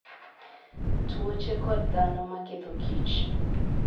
Tuoche kod Dhano ma Ketho kich: